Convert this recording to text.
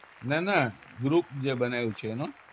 ના ના group જે બનાયું છે એમાં